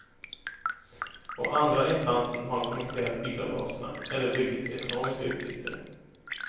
Och andra instanser har kommenterat bilavgaserna eller byggets ekonomiska utsikter.